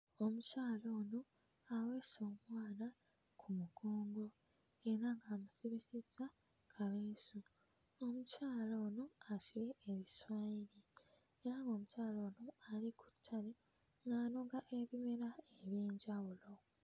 Omukyala ono aweese omwana ku mugongo era ng'amusibisizza kaleesu. Omukyala ono asibye ebiswayiri era ng'omukyala ono ali ku ttabi ng'anoga ebimera eby'enjawulo.